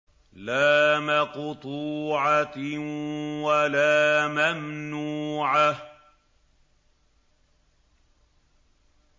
لَّا مَقْطُوعَةٍ وَلَا مَمْنُوعَةٍ